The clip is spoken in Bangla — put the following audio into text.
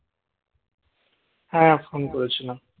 হ্যাঁ phone করেছিলাম